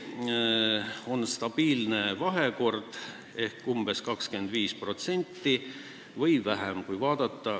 See on stabiilne suhe: neid on umbes 25% või vähemgi.